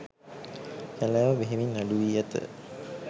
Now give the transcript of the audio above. කැලෑව බෙහෙවින් අඩු වී ඇත